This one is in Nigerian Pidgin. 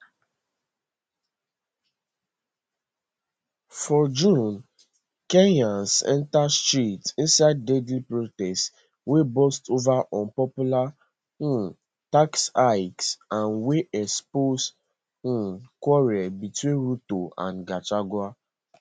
for june kenyans enter streets inside deadly protests wey burst over unpopular um tax hikes and wey expose um quarrel between ruto and gachagua